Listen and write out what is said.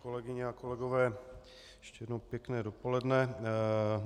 Kolegyně a kolegové, ještě jednou pěkné dopoledne.